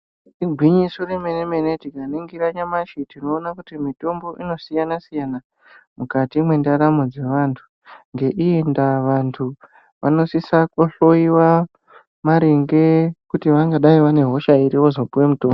Igwinyiso remenemene tikaningira nyamashi tinoona kuti mitombo inosiyana siyana mukati mwendaramu dze vantu ngeiyi ndaa vantu vanosise kuhloiwa maringe kuti vangadaro vanehosha iri vozopuwe mutombo.